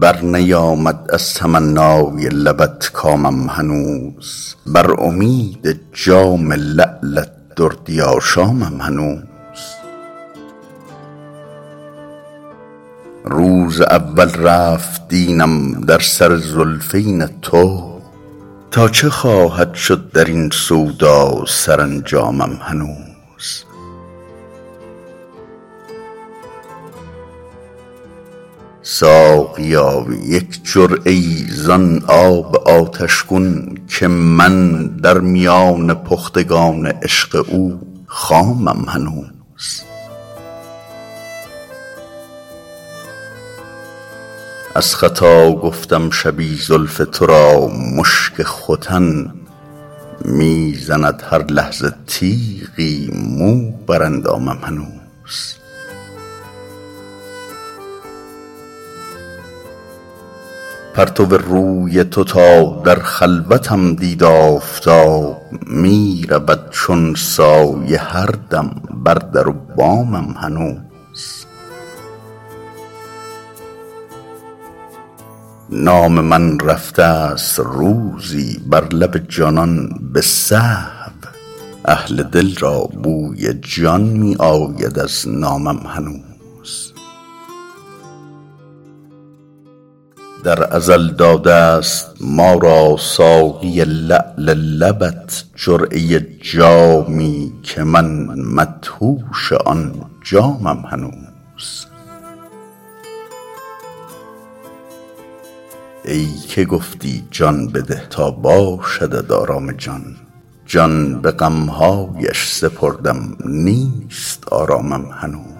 برنیامد از تمنای لبت کامم هنوز بر امید جام لعلت دردی آشامم هنوز روز اول رفت دینم در سر زلفین تو تا چه خواهد شد در این سودا سرانجامم هنوز ساقیا یک جرعه ای زان آب آتش گون که من در میان پختگان عشق او خامم هنوز از خطا گفتم شبی زلف تو را مشک ختن می زند هر لحظه تیغی مو بر اندامم هنوز پرتو روی تو تا در خلوتم دید آفتاب می رود چون سایه هر دم بر در و بامم هنوز نام من رفته ست روزی بر لب جانان به سهو اهل دل را بوی جان می آید از نامم هنوز در ازل داده ست ما را ساقی لعل لبت جرعه جامی که من مدهوش آن جامم هنوز ای که گفتی جان بده تا باشدت آرام جان جان به غم هایش سپردم نیست آرامم هنوز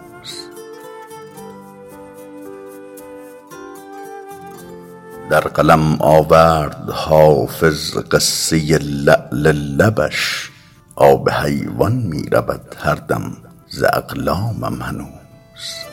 در قلم آورد حافظ قصه لعل لبش آب حیوان می رود هر دم ز اقلامم هنوز